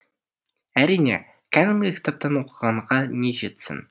әрине кәдімгі кітаптан оқығанға не жетсін